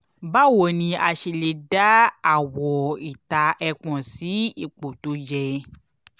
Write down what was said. báwo ni a ṣe lè dá àwọ̀-ìta ẹpọ̀n sí ipò tó yẹ?